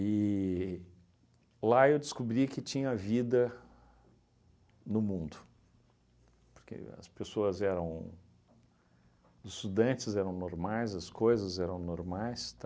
E lá eu descobri que tinha vida no mundo, porque as pessoas eram... os estudantes eram normais, as coisas eram normais,